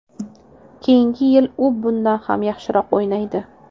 Keyingi yil u bundan ham yaxshiroq o‘ynaydi”.